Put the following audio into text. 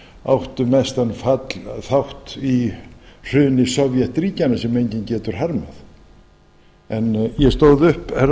áttu mestan þátt í hruni sovétríkjanna sem enginn getur harmað en ég stóð upp herra